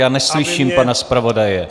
Já neslyším pana zpravodaje.